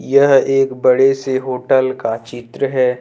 यह एक बड़े से होटल का चित्र है।